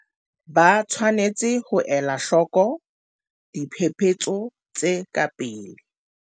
Ba tshwanetse ho ela hloko diphephetso tse ka pele.